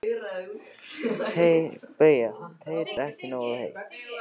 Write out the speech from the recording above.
BAUJA: Teið er ekki nógu heitt.